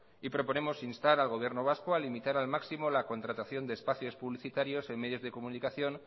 y proponemos instar al gobierno vasco a limitar al máximo la contratación de espacios publicitarios en medios de comunicación